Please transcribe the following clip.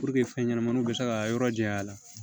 fɛn ɲɛnamaninw bɛ se ka yɔrɔ jɛ a la